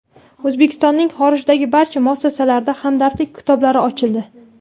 O‘zbekistonning xorijdagi barcha muassasalarida hamdardlik kitoblari ochildi.